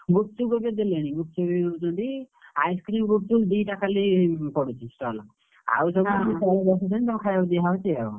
ଗୁପ୍ ଚୁପ୍ ଏବେ ଦେଲେଣି ଗୁପ୍ ଚୁପ୍ ଦଉଛନ୍ତି ice cream ଗୁପ୍ ଚୁପ୍ ଦିଟା ଖାଲି ପଡୁଛି stall ଆଉ ସବୁ ତଳେ ବସେଇକି ଖାଇଆକୁ ଦିଆ ହଉଛି ଆଉ।